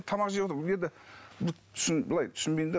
тамақ жеп отырмын енді былай түсінбеймін де